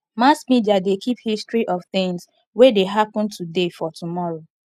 mass media de keep history of things wey de happen today for tomorrow